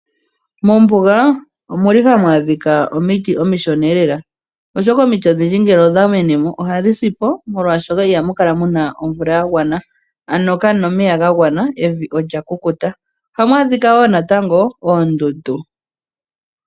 Mombuga ohamu adhika omiti omishona, oshoka omiti odhindji ngele odhamenemo oha dhisi molwaashoka ihamukala muna omvula yagwana, ano kamuna omeya gagwana evi olyakukuta. Ohamu adhika wo natango oondundu.